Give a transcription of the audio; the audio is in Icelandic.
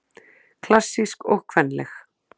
Klassísk og kvenleg